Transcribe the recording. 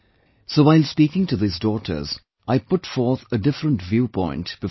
So while speaking to these daughters, I put forth a different viewpoint before them